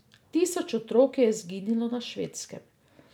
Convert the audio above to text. Tisoč otrok je izginilo na Švedskem.